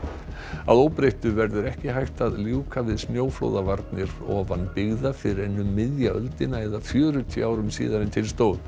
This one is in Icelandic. að óbreyttu verður ekki hægt að ljúka við snjóflóðavarnir ofan byggða fyrr en um miðja öldina eða fjörutíu árum síðar en til stóð